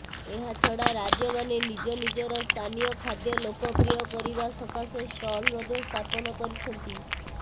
ଏହାଛଡା ରାଜ୍ୟମାନେ ନିଜ ନିଜର ସ୍ଥାନୀୟ ଖାଦ୍ୟ ଲୋକପ୍ରିୟ କରିବା ସକାଶେ ଷ୍ଟଲ ମଧ୍ୟ ସ୍ଥାପନ କରିଛନ୍ତି